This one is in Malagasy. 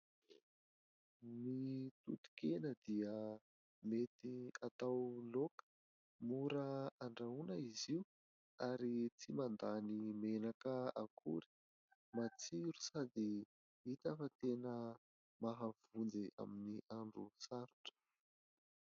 Ny toton-kena dia mety atao laoka, mora andrahoana izy io ary tsy mandany menaka akory ; matsiro sady hita fa tena mahavonjy amin'ny andro sarotra.